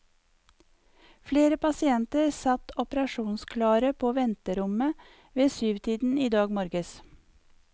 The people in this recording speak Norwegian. Flere pasienter satt operasjonsklare på venterommet ved syvtiden i dag morges.